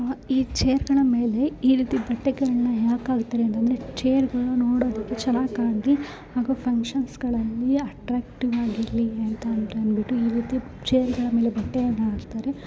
ಆಹ್ ಈ ಚೇರ್ ಗಳ ಮೇಲೆ ಈ ರೀತಿ ಬಟ್ಟೆಗಳನ್ನ ಯಾಕ್ ಹಾಗ್ತಾರೆ ಅಂದ್ರೆ ಚೇರ್ನ ನೋಡೋದಕ್ಕೆ ಚೆನ್ನಾಗ್ ಕಾಣಲಿ ಹಾಗು ಫಂಕ್ಷನ್ಸ್ ಗಳಲ್ಲಿ ಅಟ್ರಾಕ್ಟಿವ್ ಆಗಿರ್ಲಿ ಅಂತ ಅಂಬಿಟ್ಟು ಈ ರೀತಿ ಚೇರ್ಗ ಲ್ ಮೇಲೆ ಬಟ್ಟೆಯನ್ನ ಹಾಕ್ತರೇ .